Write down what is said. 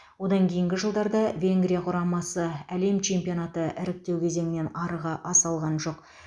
одан кейінгі жылдарда венгрия құрамасы әлем чемпионаты іріктеу кезеңінен арыға аса алған жоқ